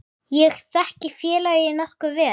Ég þekki félagið nokkuð vel.